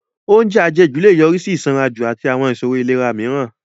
Oúnjẹ àjẹjù lè yọrí sí ìsanranjù àti àwọn ìṣòro ìlera mìíràn